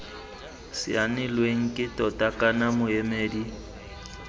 saenilweng ke tona kana moemedi